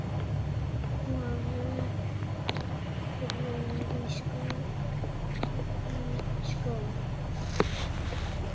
Að snúa vörn í sókn.